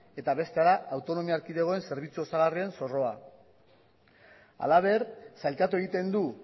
eta bestea da autonomia erkidegoen zerbitzu osagarrien zorroa halaber sailkatu egiten du